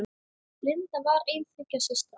Linda var ein þriggja systra.